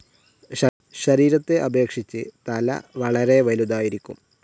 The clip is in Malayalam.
ശരീരത്തെ അപേക്ഷിച്ച് തല വളരെ വലുതായിരിക്കും.